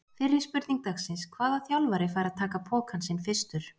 Fyrri spurning dagsins: Hvaða þjálfari fær að taka pokann sinn fyrstur?